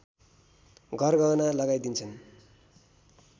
गरगहना लगाई दिन्छन्